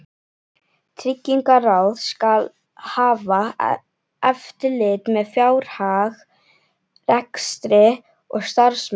Tryggingaráð skal hafa eftirlit með fjárhag, rekstri og starfsemi